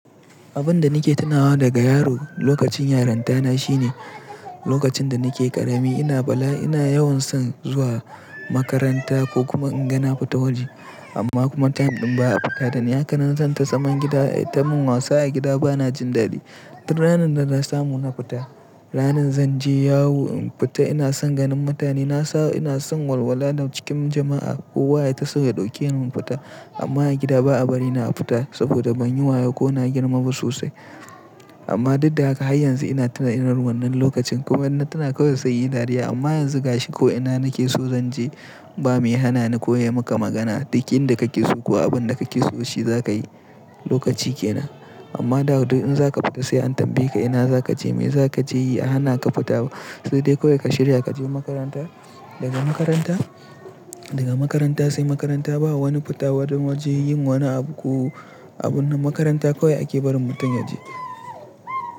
Abin da nake tunawa daga yaro lokacin yaranta na shine lokacin da nake ƙarami ina bala ina yawan son zuwa makaranta ko kuma inga na fita waje amma kuma time ɗin ba a fita dani haka nan zan ta zaman gida ayi ta min wasa a gida ba na jin daɗi. Duk ranar da na samu na fita, ranar zan je yawo in fita ina son ganin mutane na sa, ina son walwala da cikin jama'a. Kowa yayi taso ya ɗauke ni mu fita amma a gida ba a bari ina fita saboda ban yi wayo ko na girma ba sosai. Amma duk da haka har yanzu ina tuna irin wannan lokacin kuma in na tuna kawai sai in yi dariya amma yanzu gashi ko ina nake so zan je ba mai hana ni ko ya yi maka magana duk inda kake so ko abin da kake so shi za ka yi lokaci ke nan. Amma da duk in za ka fita sai an tambaye ka ina za ka je me za ka je yi a hana ka fita sai dai kawai ka shirya ka je makaranta. Daga makaranta, daga makaranta sai makaranta ba wani fita wurin waje yin wani abu ko abun nan makaranta kawai ake barin mutum ya je.